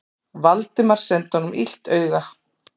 Valdimar sendi honum illt auga.